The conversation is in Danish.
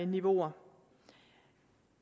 niveauer